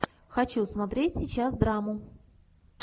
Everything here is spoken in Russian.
хочу смотреть сейчас драму